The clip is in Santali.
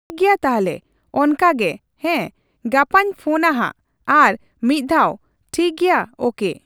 ᱴᱷᱤᱠᱜᱮᱭᱟ ᱛᱟᱞᱦᱮ ᱚᱱᱠᱟᱜᱮ ᱦᱮᱸ᱾ ᱜᱟᱯᱟᱧ ᱯᱷᱳᱱᱟ ᱦᱟᱸᱜ ᱟᱨ ᱢᱤᱫ ᱫᱷᱟᱣ, ᱴᱷᱤᱠᱜᱮᱭᱟ ᱳᱠᱮ ᱾